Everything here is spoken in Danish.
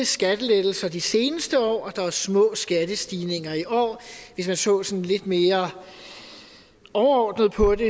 skattelettelser de seneste år og at der er små skattestigninger i år hvis man så så lidt mere overordnet på det